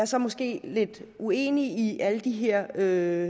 så måske lidt uenig i alle de her